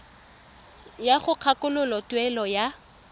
ya go kgakololo tuelo ya